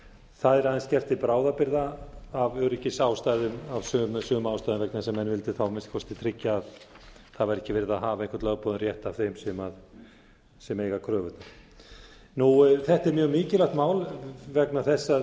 það er aðeins gert til bráðabirgða af öryggisástæðum af sömu ástæðum vegna þess að menn vildu þá að minnsta kosti tryggja að það væri ekki verið að hafa einhvern lögboðinn rétt af þeim sem eiga kröfurnar þetta er mjög mikilvægt mál vegna þess að